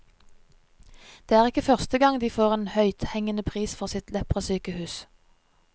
Det er ikke første gang de får en høythengende pris for sitt leprasykehus.